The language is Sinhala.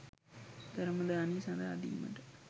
ධර්ම දානය සඳහා දීමට